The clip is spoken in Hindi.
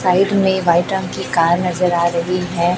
साइड मे रंग की कार नजर आ रही है।